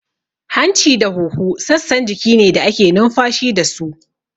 Hanci da huhu sassan jiki ne da ake numfashi dasu